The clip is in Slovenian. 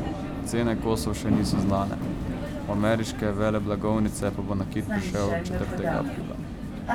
Cene kosov še niso znane, v ameriške veleblagovnice pa bo nakit prišel četrtega aprila.